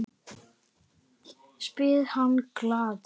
spyr hann glaður.